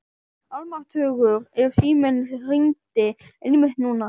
Almáttugur ef síminn hringdi einmitt núna.